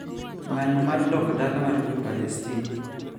Ng`anyo mar dok dala mar jo Palestin